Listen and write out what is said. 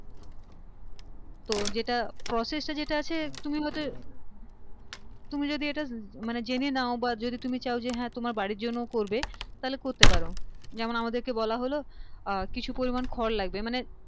তো যেটা process টা যেটা আছে তুমি হয়তো তুমি যদি এইটা মানে জেনে নাও বা তুমি যদি চাও যে হ্যাঁ তোমার বাড়ির জন্য ও করবে তাহলে করতে পারো যেমন আমাদেরকে বলা হল আহ কিছু পরিমান খড় লাগবে মানে